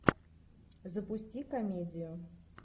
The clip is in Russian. запусти комедию